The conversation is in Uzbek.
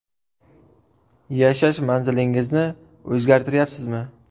Yashash manzilingizni o‘zgartiryapsizmi?